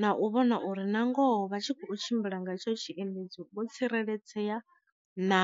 na u vhona uri na ngoho vha tshi kho tshimbila nga tsho tshiendedzi vho tsireledzea na.